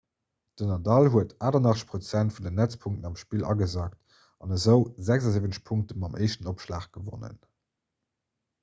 den nadal huet 88 % vun den netzpunkten am spill agesackt an esou 76 punkte mam éischten opschlag gewonnen